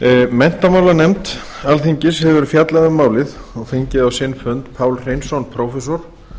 menntamálanefnd alþingis hefur fjallað um málið og fengið á sinn fund pál hreinsson prófessor